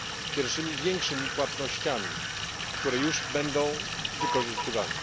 pierwszymi większymi płatnościami, które już będą wykorzystywane.